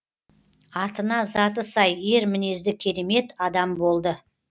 атына заты сай ер мінезді керемет адам болды